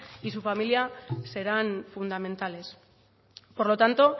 y su familia serán fundamentales por lo tanto